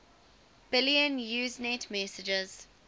billion usenet messages